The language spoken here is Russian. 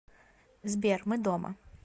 сбер мы дома